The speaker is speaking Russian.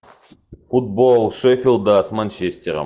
футбол шеффилда с манчестером